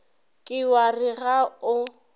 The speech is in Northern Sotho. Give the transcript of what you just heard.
ke wa re ga o